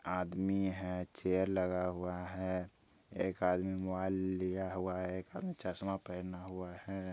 आदमी है चेयर लगा हुआ है एक आदमी मोबाइल लिया हुआ है एक आदमी चश्मा पहना हुआ है।